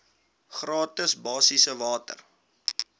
gratis basiese water